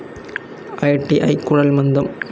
I T I, Kuzhalmandam